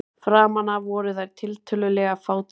Framan af voru þær tiltölulega fátíðar.